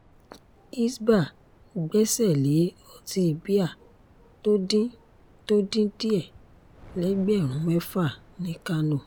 hisbah gbẹ́sẹ̀ lé ọtí bíà tó dín tó dín díẹ̀ lẹ́gbẹ̀rún mẹ́fà ní kánò